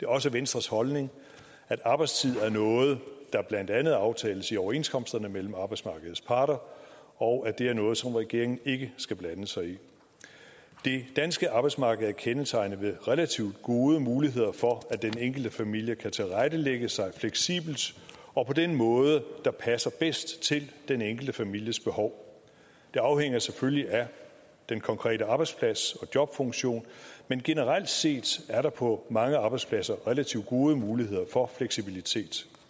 også venstres holdning at arbejdstid er noget der blandt andet aftales i overenskomsterne mellem arbejdsmarkedets parter og at det er noget som regeringen ikke skal blande sig i det danske arbejdsmarked er kendetegnet ved relativt gode muligheder for at den enkelte familie kan tilrettelægge sig fleksibelt og på den måde der passer bedst til den enkelte families behov det afhænger selvfølgelig af den konkrete arbejdsplads og jobfunktion men generelt set er der på mange arbejdspladser relativt gode muligheder for fleksibilitet